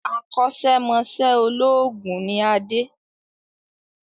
Akọ́sẹ́ mọṣẹ̀ olóògùn ni Adé